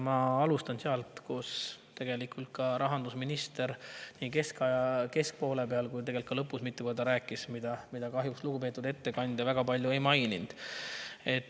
Ma alustan sellest, millest tegelikult ka rahandusminister nii poole peal kui ka lõpus mitu korda rääkis, aga mida lugupeetud ettekandja kahjuks väga palju ei maininud.